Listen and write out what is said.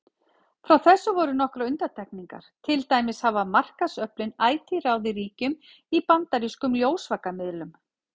Frá þessu voru nokkrar undantekningar, til dæmis hafa markaðsöflin ætíð ráðið ríkjum í bandarískum ljósvakamiðlum.